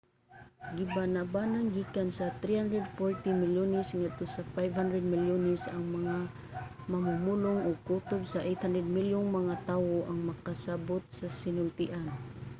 gibanabanang gikan sa 340 milyones ngadto sa 500 milyones ang mga mamumulong ug kutob sa 800 milyong mga tawo ang makasabut sa sinultian